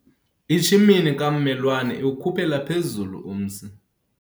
Itshimini kammelwane iwukhuphela phezulu umsi